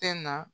Tɛ na